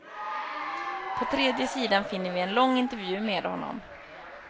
På tredje sidan finner vi en lång intervju med honom.